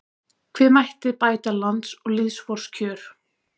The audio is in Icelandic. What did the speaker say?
Hve mætti bæta lands og lýðs vors kjör